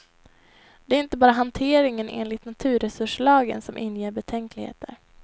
Det är inte bara hanteringen enligt naturresurslagen som inger betänkligheter.